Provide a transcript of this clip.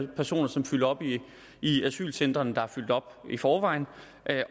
personer som fylder op i i asylcentrene der er fyldt op i forvejen